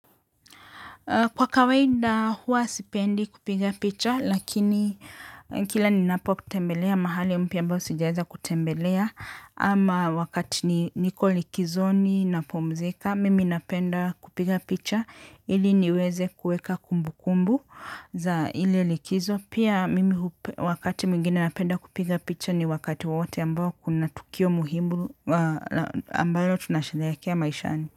Kwa kawaida hua sipendi kupiga picha lakini kila ni napo tembelea mahali mpya ambao sijaweza kutembelea ama wakati niko likizoni napumzika mimi napenda kupiga picha ili niweze kuweka kumbu kumbu za ile likizo pia mimi wakati mwingine napenda kupiga picha ni wakati wowote ambao kuna tukio muhimu ambalo tunasherehekea maishani.